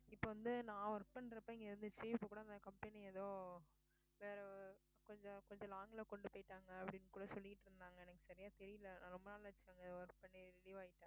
இப்ப வந்து நான் work பண்றப்ப இங்க வந்து அந்த company எதோ வேற கொஞ்சம் கொஞ்சம் long ல கொண்டு போயிட்டாங்க அப்படின்னு கூட சொல்லிட்டிருந்தாங்க எனக்கு சரியா தெரியலே. ரொம்ப நாள் ஆச்சு அங்க work பண்ணி relieve ஆயிட்டேன்